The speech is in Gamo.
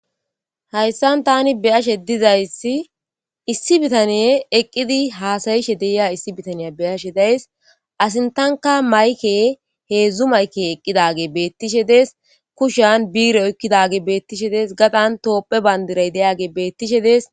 hayssan tani beyashe dizayssi issi bitaniye eqqidi haasayishe deyiya issi bitaniya beyashe days asin tanka mayke heedzdzu mayke eqqidage beettishe dees kushan biire oykkidage beettishe dees gadan toophe bandiray deyage beettishe dees